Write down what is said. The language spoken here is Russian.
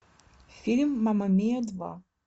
фильм мама миа два